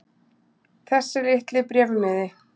Þessi litli bréfmiði.